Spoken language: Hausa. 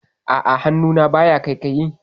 A'a, hannuna baya ƙaiƙayi.